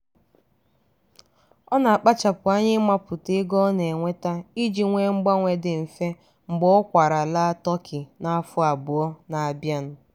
ọ na-akpachapụ anya ịmapụta ego ọ na-enweta iji nwee mgbanwe dị mfe mgbe ọ kwaara laa tokyo n'afọ abụọ n'abịa.